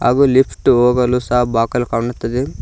ಹಾಗು ಲಿಫ್ಟ್ ಹೋಗಲು ಸಹ ಬಾಕಲು ಕಾಣುತ್ತಿದೆ.